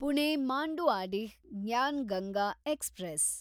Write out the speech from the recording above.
Pune Manduadih Gyan Ganga express